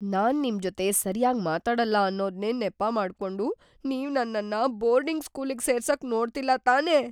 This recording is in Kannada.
ನಾನ್ ನಿಮ್ ಜೊತೆ ಸರ್ಯಾಗ್ ಮಾತಾಡಲ್ಲ ಅನ್ನೋದ್ನೇ ನೆಪ ಮಾಡ್ಕೊಂಡು ನೀವ್ ನನ್ನನ್ನ ಬೋರ್ಡಿಂಗ್ ಸ್ಕೂಲಿಗ್‌ ಸೇರ್ಸಕ್‌ ನೋಡ್ತಿಲ್ಲ ತಾನೇ?!